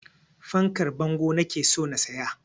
Fankar bango nake so na siya